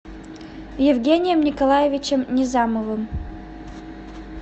евгением николаевичем низамовым